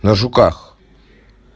на жуках